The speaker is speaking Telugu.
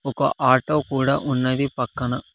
ఒక ఆటో కూడా ఉన్నది పక్కన.